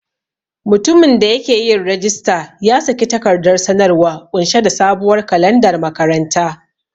Mutumin da yake yin rajista ya saki takardar sanarwa ƙunshe da sabuwar kalandar makaranta.